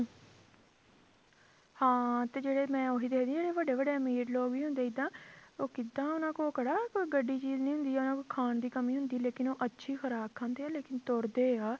ਹਾਂ ਤੇ ਜਿਹੜੇ ਮੈਂ ਉਹੀ ਦੇਖਦੀ ਹਾਂ ਜਿਹੜੇ ਵੱਡੇ ਵੱਡੇ ਅਮੀਰ ਲੋਕ ਵੀ ਹੁੰਦੇ ਜਿੱਦਾਂ ਉਹ ਕਿੱਦਾਂ ਉਹਨਾਂ ਕੋਲ ਕਿਹੜਾ ਕੋਈ ਗੱਡੀ ਚੀਜ਼ ਨੀ ਹੁੰਦੀ ਜਾਂ ਉਹਨਾਂ ਨੂੰ ਖਾਣ ਦੀ ਕਮੀ ਹੁੰਦੀ ਲੇਕਿੰਨ ਉਹ ਅੱਛੀ ਖੁਰਾਕ ਖਾਂਦੇ ਆ ਲੇਕਿੰਨ ਤੁਰਦੇ ਆ,